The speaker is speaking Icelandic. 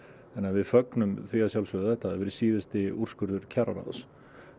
við fögnum því að sjálfsögðu að þetta hafi verið síðasti úrskurður kjararáðs